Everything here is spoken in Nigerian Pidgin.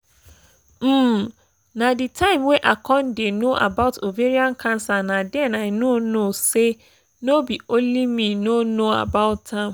um na the time wey i con dey no about ovarian cancer na den i know know say no be only me no know about am